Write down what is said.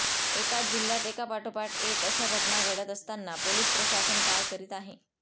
एकाच जिल्ह्यात एका पाठोपाठ एक अशा घटना घडत असताना पोलिस प्रशासन काय करीत आहे